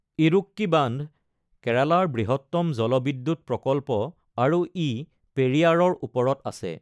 ইড়ুক্কি বান্ধ কেৰালাৰ বৃহত্তম জলবিদ্যুৎ প্ৰকল্প আৰু ই পেৰিয়াৰৰ ওপৰত আছে।